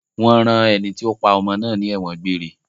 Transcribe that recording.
Wọ́n rán ẹni tí ó pa ọmọ náà ní ẹ̀wọ̀n gbére.